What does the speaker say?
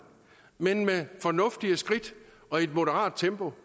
men med fornuftige skridt og i et moderat tempo